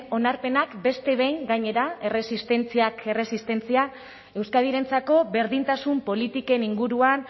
onarpenak beste behin gainera erresistentziak erresistentzia euskadirentzako berdintasun politiken inguruan